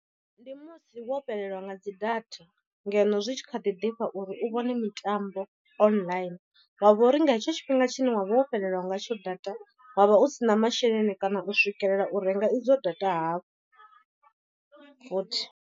Ndi musi wo fhelelwa nga dzi data ngeno zwi tshi kha ḓi ḓifha uri u vhone mitambo online. Wa vha uri nga hetsho tshifhinga tshine wavha wo fhelelwa ngatsho data wavha u si na masheleni kana u swikelela u renga idzo data hafhu futhi.